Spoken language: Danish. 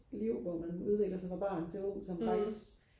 liv hvor man udvikler sig fra barn til ung som faktisk